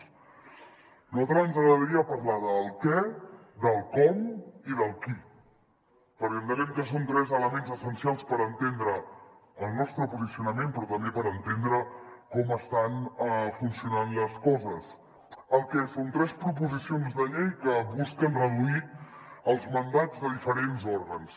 a nosaltres ens agradaria parlar del què del com i del qui perquè entenem que són tres elements essencials per entendre el nostre posicionament però també per entendre com estan funcionant les coses el que són tres proposicions de llei que busquen reduir els mandats de diferents òrgans